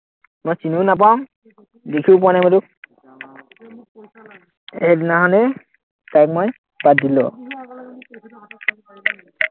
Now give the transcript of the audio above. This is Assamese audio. মই চিনিও নাপাওঁ, দেখিও পোৱা নাই তোক সেইদিনাখনেই তাইক মই বাদ দিলো